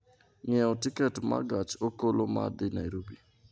ng'iewo tiket ma gach okoloma dhi Nairobi